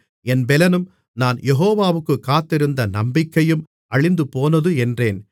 என் பெலனும் நான் யெகோவாவுக்குக் காத்திருந்த நம்பிக்கையும் அழிந்துபோனது என்றேன்